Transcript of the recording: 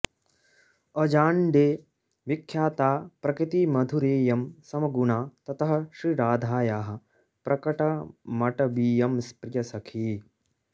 अजाण्डे विख्याता प्रकृतिमधुरेयं समगुणा ततः श्रीराधायाः प्रकटमटवीयं प्रियसखी